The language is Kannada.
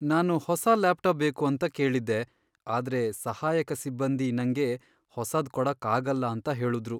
ನಾನು ಹೊಸ ಲ್ಯಾಪ್ಟಾಪ್ ಬೇಕು ಅಂತ ಕೇಳಿದ್ದೆ, ಆದ್ರೆ ಸಹಾಯಕ ಸಿಬ್ಬಂದಿ ನಂಗೆ ಹೊಸಾದ್ ಕೊಡಕ್ಕಾಗಲ್ಲ ಅಂತ ಹೇಳುದ್ರು.